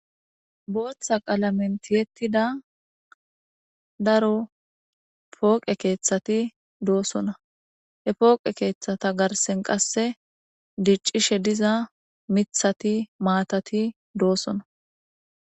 Botha qaalamen tiettida daro pooqe keethati doossona he pooqe keethata garsen qasse diccishe diza mithati maatati doossona